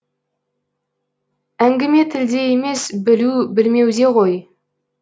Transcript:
әңгіме тілде емес білу білмеуде ғой